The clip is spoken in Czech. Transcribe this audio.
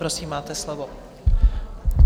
Prosím, máte slovo.